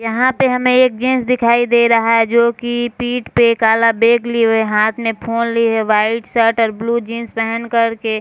यहाँ पे हमें एक जेंट्स दिखाई दे रहा है जो कि पीठ पे काला बैग लिए हुए हाथ में फ़ोन लिए हुए वाइट शर्ट और ब्लू जीन्स पहन कर के --